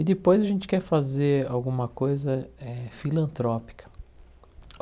E depois a gente quer fazer alguma coisa eh filantrópica.